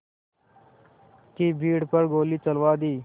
की भीड़ पर गोली चलवा दी